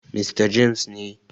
Mista James ne.